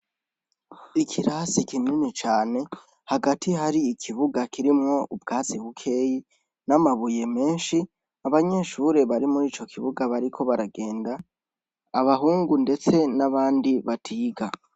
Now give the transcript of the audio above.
Ikirasi kimini cane hagati hari ikibuga kirimwo ubwatsi bukeyi n'amabuye menshi abanyeshure bari muri ico kibuga bariko baragenda abahungu, ndetse n'abandi batiga.